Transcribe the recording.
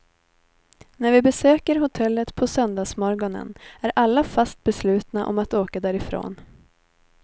När vi besöker hotellet på söndagsmorgonen är alla fast beslutna om att åka därifrån.